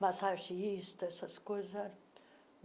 Massagista, essas coisas.